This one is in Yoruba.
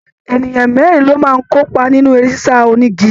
Ènìyàn mẹrin lo máa n kópa nínú eré sisa onígí.